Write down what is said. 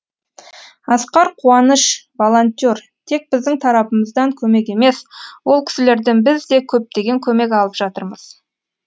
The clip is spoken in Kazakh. асқар қуаныш волонтер тек біздің тарапымыздан көмек емес ол кісілерден біз де көптеген көмек алып жатырмыз